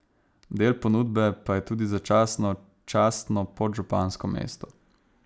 Del ponudbe pa je tudi začasno častno podžupansko mesto.